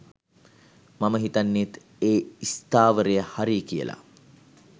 මම හිතන්නෙත් ඒ ස්ථාවරය හරියි කියලා.